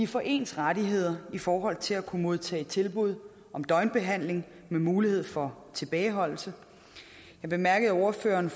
får ens rettigheder i forhold til at kunne modtage tilbud om døgnbehandling med mulighed for tilbageholdelse jeg bemærkede at ordføreren